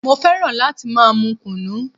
Mo fẹ́ràn láti máa mú kùnú.